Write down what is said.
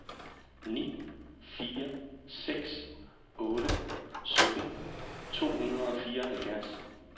ni fire seks otte sytten to hundrede og fireoghalvfjerds